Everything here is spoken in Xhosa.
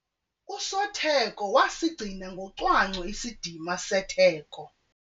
Usotheko wasigcina ngocwangco isidima setheko.